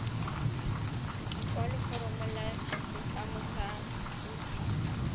lekwaloforomo la setlamo sa bodit